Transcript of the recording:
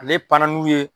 Ale pan n'u ye